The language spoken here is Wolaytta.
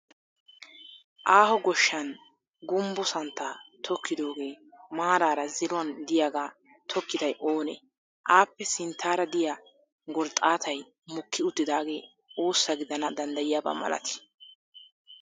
Aaho goshshan gumbbo santtaa tokkidoogee maaraara ziruwan diyagaa tokkiday oonee? Aappe sinttaara diya gorxxaaatay mokki uttidaagee oossa gidana danddayiyaba malatii?